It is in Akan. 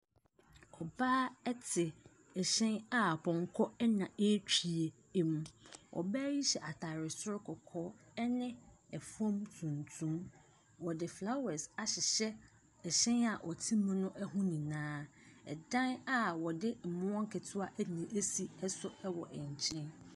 Ɔbaa te ɛhyɛn a pɔnkɔ na ɛretwi mu. Ɔbaa yi hyɛ atade soro kɔkɔɔ ne fam tuntum. Wɔde flowers ahyeyhɛ ɛhyɛn a ɔte mu no ho nyinaa. Ɛdan a wɔde mmoɔ nketewa na asi nso wɔ nkyɛn.